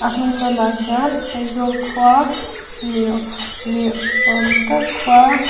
hnung lamah hian aizawl khua niaw niawm tak khua.